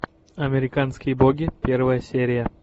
американские боги первая серия